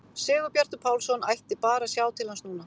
Sigurbjartur Pálsson ætti bara að sjá til hans núna!